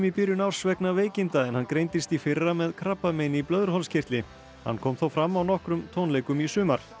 byrjun árs vegna veikinda en hann greindist í fyrra með krabbamein í blöðruhálskirtli hann kom þó fram á nokkrum tónleikum í sumar